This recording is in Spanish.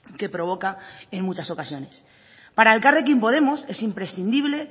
que provoca en muchas ocasiones para elkarrekin podemos es imprescindible